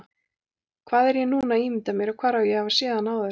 Hvað er ég núna að ímynda mér, hvar á ég að hafa séð hann áður?